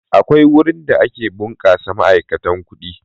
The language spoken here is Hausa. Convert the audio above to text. Akwai wurin da ake ɓunkasa ma'aikatan kuɗi.